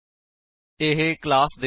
ਇਹ ਕੰਸਟਰਕਟਰਸ ਦੇ ਚਲਨ ਤੋ ਪਹਿਲਾਂ ਚਲਦਾ ਹੈ